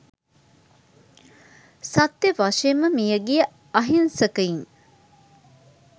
සත්‍ය වශයෙන්ම මියගිය අහින්සකයින්